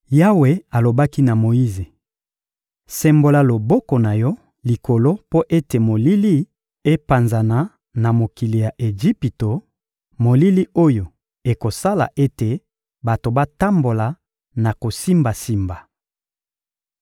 Yawe alobaki na Moyize: — Sembola loboko na yo likolo mpo ete molili epanzana na mokili ya Ejipito, molili oyo ekosala ete bato batambola na kosimbasimba.